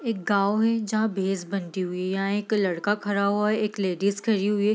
एक गांव है जहाँ भैंस बंधी हुए एक लड़का खड़ा हुआ है एक लेडीज खड़ी हुई है।